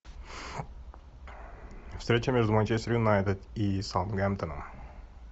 встреча между манчестер юнайтед и саутгемптоном